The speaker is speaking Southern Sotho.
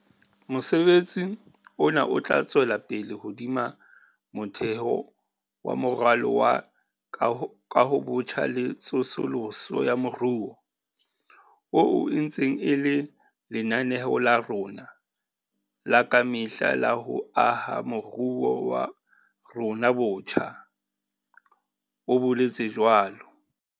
Mosebetsi ona o tla tswela pele hodima motheo wa Moralo wa Kahobotjha le Tsosoloso ya Moruo, oo e ntseng e le lenaneo la rona la ka mehla la ho aha moruo wa rona botjha, o boletse jwalo.